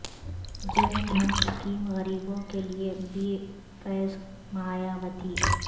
جن دھن اسکیم غریبوں کے لئے بے فیض مایاوتی